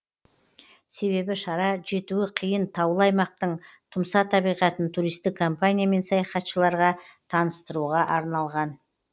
себебі шара жетуі қиын таулы аймақтың тұмса табиғатын туристік компания мен саяхатшыларға таныстыруға арналған